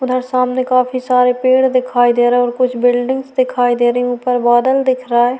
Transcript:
उधर सामने काफी सारे पेड़ दिखाई दे रहे हैं कुछ बिल्डिंग दिखाई दे रही है ऊपर बादल दिख रहा है।